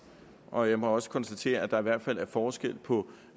og jeg må også konstatere at der i hvert fald er forskel på